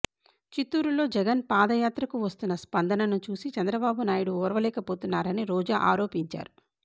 చిత్తూరులో జగన్ పాదయాత్రకు వస్తున్న స్పందనను చూసి చంద్రబాబునాయుడు ఓర్వలేకపోతున్నారని రోజా ఆరోపించారు